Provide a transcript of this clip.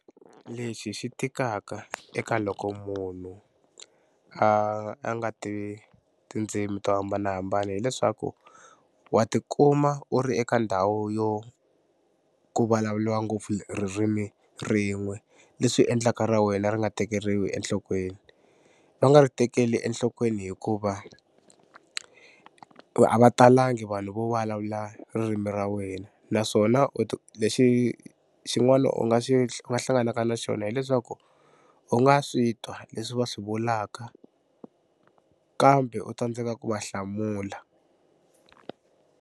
Lexi xi tikaka eka loko munhu a a nga tivi tindzimi to hambanahambana hileswaku wa tikuma u ri eka ndhawu yo ku vulavuriwa ngopfu ririmi rin'we leswi endlaka ra wena ri nga tekeriwi enhlokweni. Va nga ri tekeli enhlokweni hikuva a va talangi vanhu vo vulavula ririmi ra wena naswona u lexi xin'wana u nga xi u nga hlanganaka na xona hileswaku u nga swi twa leswi va swi vulaka kambe u tsandzeka ku va hlamula.